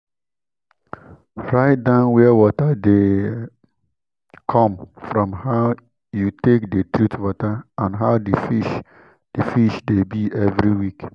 write down where water de come from how you take de treat water and how the fish the fish de be every week